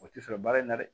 O tɛ sɔrɔ baara in na dɛ